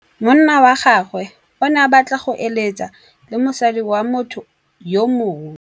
Monna wa gagwe o ne a batla go êlêtsa le mosadi wa motho yo mongwe.